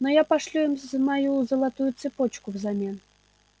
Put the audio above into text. но я пошлю им мою золотую цепочку взамен